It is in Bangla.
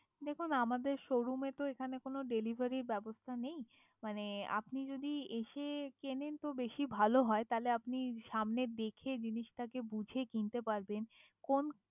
দেখুন আমাদের শোরুমে তো এখানে তো কোনো ডেলিভারির ব্যবস্থা নেই, মানে আপনি যদি এসে কেনেন তো বেশি ভালো হয় তাহলে আপনি সামনে দেখে জিনিসটাকে বুঝে কিনতে পারবেন কোন